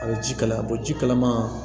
A bɛ ji kalaya a bɛ ji kalaman